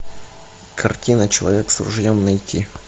картина человек с ружьем найти